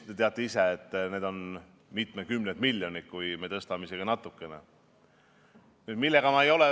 Te teate isegi, et kui me tõstame isegi natukene, tähendab see juba mitukümmet miljonit.